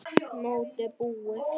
Mótið búið?